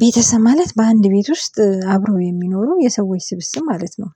ቤተሰብ ማለት በአንድ ቤት ውስጥ አብረው የሚኖሩ የሰዎች ስብስብ ማለት ነው።